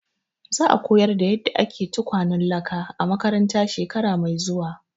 Za a koyar da yadda ake tukwanan laka a makaranta shekara mai zuwa.